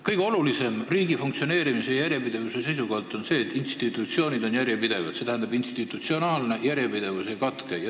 Kõige olulisem on riigi funktsioneerimise seisukohalt see, et institutsioonid on järjepidevad, et institutsionaalne järjepidevus ei katke.